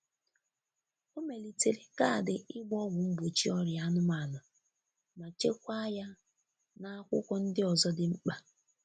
O melitere kaadị ịgba ọgwu mgbochi ọrịa anụmanụ ma chekwaa ya n'akwụkwọ ndi ozo di mkpa.